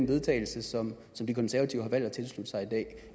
vedtagelse som de konservative har valgt at tilslutte sig i dag